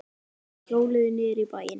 Þeir hjóluðu niður í bæinn.